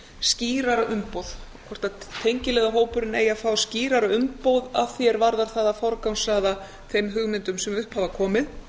skýrara umboð hvort tengiliðahópurinn eigi að fá skýrara umboð að því er varðar að forgangsraða þeim hugmyndum sem upp hafa komið